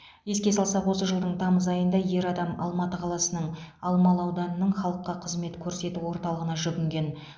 еске салсақ осы жылдың тамыз айында ер адам алматы қаласының алмалы ауданының халыққа қызмет көрсету орталығына жүгінген